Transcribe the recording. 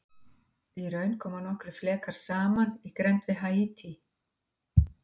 Í raun koma nokkrir flekar saman í grennd við Haítí.